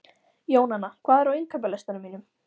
Jónanna, hvað er á innkaupalistanum mínum?